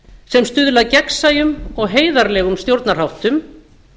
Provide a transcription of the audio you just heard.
sem stuðla að gegnsæjum og heiðarlegum stjórnarháttum